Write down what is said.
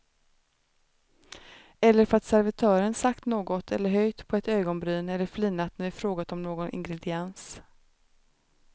Eller för att servitören sagt något eller höjt på ett ögonbryn eller flinat när vi frågat om någon ingrediens.